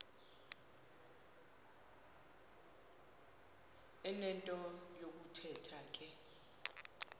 enento yokuthetha ke